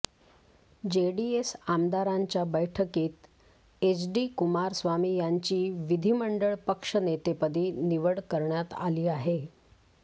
JDS आमदारांच्या बैठकीत एचडी कुमारस्वामी यांची विधीमंडळ पक्षनेतेपदी निवड करण्यात आली आहे